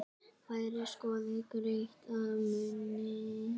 Færir skeiðin graut að munni.